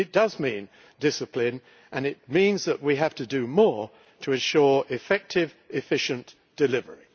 It does mean discipline and it means that we have to do more to ensure effective, efficient delivery.